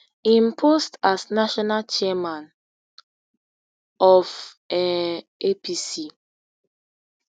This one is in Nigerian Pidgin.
im post as national chairman of um apc